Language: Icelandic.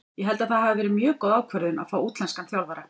Ég held að það hafi verið mjög góð ákvörðun að fá útlenskan þjálfara.